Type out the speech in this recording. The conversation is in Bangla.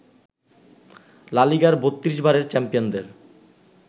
লা লিগার ৩২ বারের চ্যাম্পিয়নদের